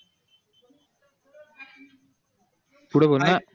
पुढे बोल ना